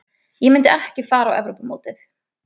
Ég myndi ekki fara á Evrópumótið.